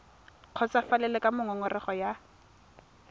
kgotsofalele ka moo ngongorego ya